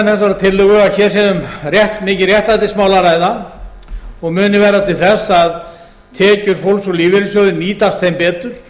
flutningsmenn þessarar tillögu að hér sé um mikið réttlætismál að ræða og muni verða til þess að tekjur fólks úr lífeyrissjóði nýtast þeim betur